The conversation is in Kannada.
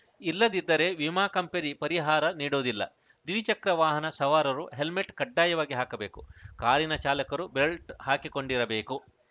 ಇಲ್ಲದಿದ್ದರೆ ವಿಮಾ ಕಂಪನಿ ಪರಿಹಾರ ನೀಡುವುದಿಲ್ಲ ದ್ವಿಚಕ್ರ ವಾಹನ ಸವಾರರು ಹೆಲ್ಮೆಟ್‌ ಕಡ್ಡಾಯವಾಗಿ ಹಾಕಬೇಕು ಕಾರಿನ ಚಾಲಕರು ಬೆಲ್ಟ್‌ ಹಾಕಿಕೊಂಡಿರಬೇಕು